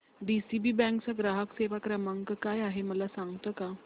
DCB bank चा ग्राहक सेवा क्रमांक काय आहे मला सांगता का